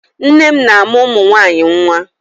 Nne m na-amụ́ ụmụ nwaanyị nwa.